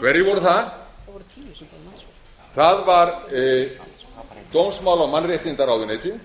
hverjir voru það það var dómsmála og mannréttindaráðuneytið